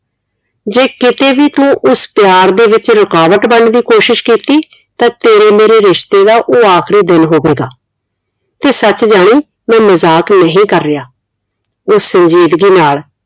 ਜੇ ਕਿਤੇ ਵੀ ਤੂੰ ਉਸ ਪਿਆਰ ਦੇ ਵਿੱਚ ਰੁਕਾਵਟ ਬਣਨ ਦੀ ਕੋਸ਼ਿਸ਼ ਕੀਤੀ ਤਾ ਤੇਰੇ ਮੇਰੇ ਰਿਸ਼ਤੇ ਦਾ ਉਹ ਆਖਰੀ ਦਿਨ ਹੋਵੇਗਾ ਤੇ ਸੱਚ ਜਾਣ ਮੈਂ ਮਜ਼ਾਕ ਨਹੀਂ ਕਰ ਰਿਹਾ ਉਹ ਸੰਜੀਦਗੀ ਨਾਲ